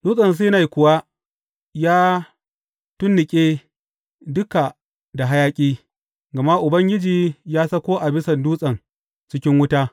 Dutsen Sinai kuwa ya tunnuƙe duka da hayaƙi, gama Ubangiji ya sauko a bisan dutsen cikin wuta.